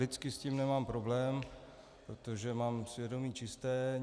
Lidsky s tím nemám problém, protože mám svědomí čisté.